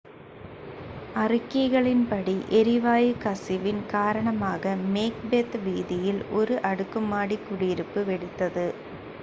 அறிக்கைகளின்படி எரிவாயு கசிவின் காரணமாக மேக்பெத் வீதியில் ஒரு அடுக்குமாடி குடியிருப்பு வெடித்தது